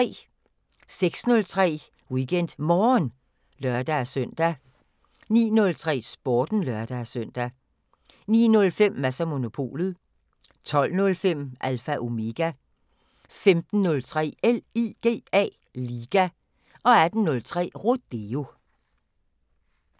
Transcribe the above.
06:03: WeekendMorgen (lør-søn) 09:03: Sporten (lør-søn) 09:05: Mads & Monopolet 12:05: Alpha Omega 15:03: LIGA 18:03: Rodeo